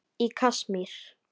Í Kasmír